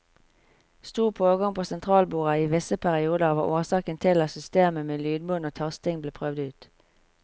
Stor pågang på sentralbordet i visse perioder var årsaken til at systemet med lydbånd og tasting ble prøvd ut.